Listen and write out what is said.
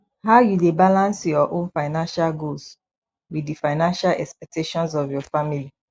how you dey balance your own financial goals with di financial expectations of your family